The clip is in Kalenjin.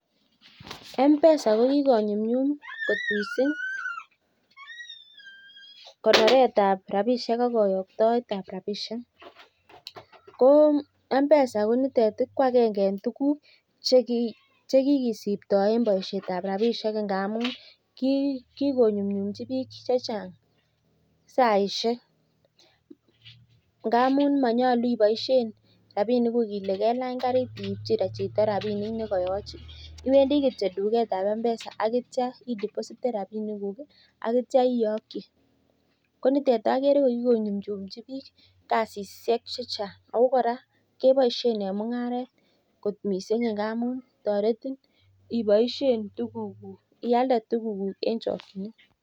M-Pesa kokigonyumnyum kot mising konoret ab rabishek ak koyoktoet ab rabishek ko M-Pesa konitet ko agenge en tuguk che kikisiptoen boishet ab rabishek ngamun kigonumnyumchi biik chechang saishek. Ngamun monyolu iboishen rabinikuk ile kelany karit ibchi chito rabinik ne koyochin, iwendi kityo tuget ab M-Pesa ak kityo idepositen rabinikuk ak kityo iyoki konitet age ko nyumnyumchin biik kasishek chechang ago kora keboishen en mung'aret kot mising ngamun toretin ialde tuguk.